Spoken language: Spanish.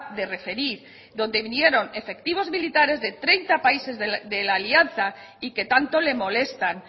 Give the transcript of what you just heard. de referir donde vieron efectivos militares de treinta países de la alianza y que tanto le molestan